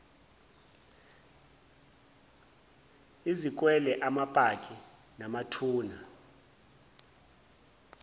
izikwele amapaki namathuna